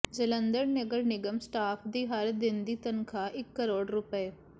ਜਲੰਧਰ ਨਗਰ ਨਿਗਮ ਸਟਾਫ ਦੀ ਹਰ ਦਿਨ ਦੀ ਤਨਖਾਹ ਇਕ ਕਰੋੜ ਰੁਪਏ